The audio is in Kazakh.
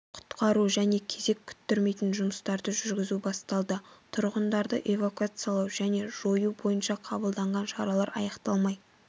құтқару және кезек күттірмейтін жұмыстарды жүргізу басталды тұрғындарды эвакуациялау және жою бойынша қабылданған шаралар аяқталмай